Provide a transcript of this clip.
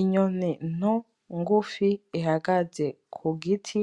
Inyoni nto ngufi ihagaze kugiti